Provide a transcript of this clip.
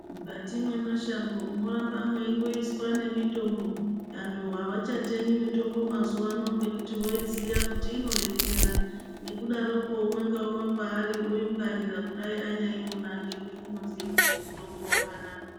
Mukati memashango moramba meingoiswa ngemitombo avachatemi mitombo mazuvano nekuti voiziya kuti inobetsera nekudaroko umwe naumwe paanenge ari unoigwarira nekuti unoziya kuti mitombo wakanaka.